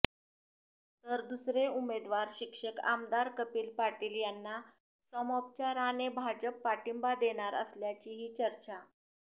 तर दुसरे उमेदवार शिक्षक आमदार कपिल पाटील यांना सामोपचाराने भाजप पाठींबा देणार असल्याचीही चर्चा